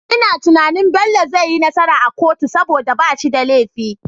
Ina tunanin Bello zai yi nasara a kotu saboda bashi da lefi